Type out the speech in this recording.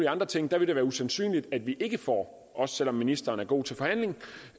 andre ting vil det være usandsynligt at vi ikke får også selv om ministeren er god til